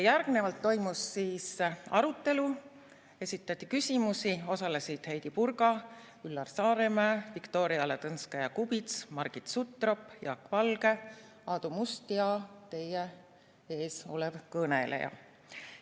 Järgnevalt toimus arutelu, esitati küsimusi, osalesid Heidy Purga, Üllar Saaremäe, Viktoria Ladõnskaja-Kubits, Margit Sutrop, Jaak Valge, Aadu Must ja teie ees olev kõneleja.